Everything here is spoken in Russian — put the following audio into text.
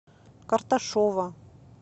карташова